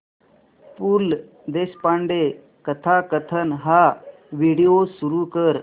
पु ल देशपांडे कथाकथन हा व्हिडिओ सुरू कर